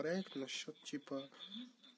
насчёт типа